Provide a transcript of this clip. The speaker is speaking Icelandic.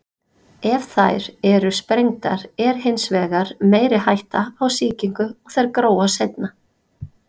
Ef þær eru sprengdar er hins vegar meiri hætta á sýkingu og þær gróa seinna.